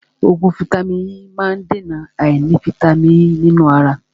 Oògùn vàìtamínií E má ń dèna àìní vàìtamínií E nínú ara.